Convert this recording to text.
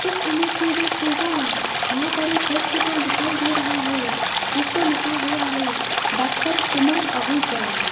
इस इमेज में देखिएगा यहां पर एक हॉस्पिटल दिखाई दे रहा है जिस पे लिखा हुआ है डॉक्टर सुमन आहूजा।